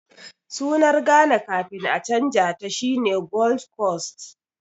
Sunar Ghana kafin a canja ta shine Gold Coast